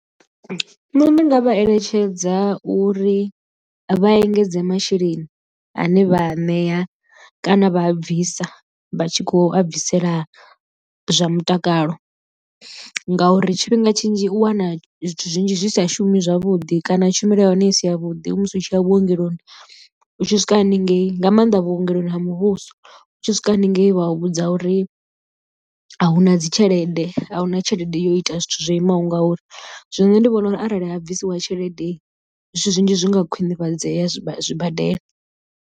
Nṋe ndi nga vha eletshedza uri vha engedze masheleni ane vha a ṋea kana vha a bvisa vha tshi khou a bvisela zwa mutakalo, ngauri tshifhinga tshinzhi u wana zwithu zwinzhi zwi sa shumi zwavhuḓi kana tshumelo ya hone i si ya vhuḓi musi u tshi ya vhuongeloni. U tshi swika haningei nga maanḓa vhuongeloni ha muvhuso u tshi swika haningei vha vhudza uri a hu na dzi tshelede a huna tshelede yo ita zwithu zwo imaho ngauri zwino nṋe ndi vhona uri arali ha bvisiwa tshelede zwithu zwinzhi zwi nga khwinifhadzeya zwibadela.